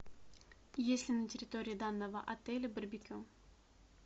есть ли на территории данного отеля барбекю